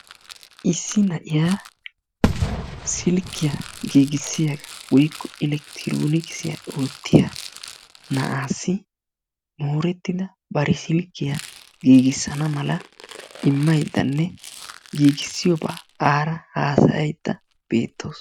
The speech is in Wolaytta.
Issi na'iya silkkiya giigissiya woykko elekitroonikisiya oottiya naa'aassi moorettida bari silkkiya giigissana mala immayddanne giigissiyobaa aara haasayaydda beettawusu.